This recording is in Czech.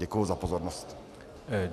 Děkuji za pozornost.